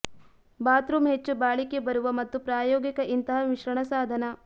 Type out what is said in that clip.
bathroom ಹೆಚ್ಚು ಬಾಳಿಕೆ ಬರುವ ಮತ್ತು ಪ್ರಾಯೋಗಿಕ ಇಂತಹ ಮಿಶ್ರಣ ಸಾಧನ